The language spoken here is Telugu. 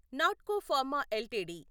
Natco pharma LTD